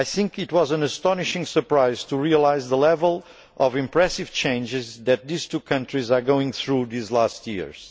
It was an astonishing surprise to realise the level of impressive changes that these two countries have gone through in recent years.